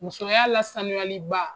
Musoya la saniyaliba